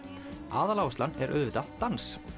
aðaláherslan er auðvitað dans